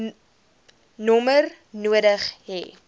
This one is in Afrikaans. nommer nodig hê